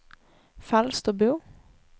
Falsterbo